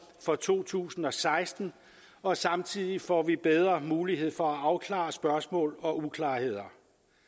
for to tusind og seksten og samtidig får vi bedre mulighed for at afklare spørgsmål og uklarheder